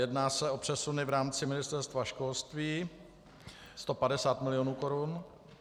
Jedná se o přesuny v rámci Ministerstva školství, 150 milionů korun.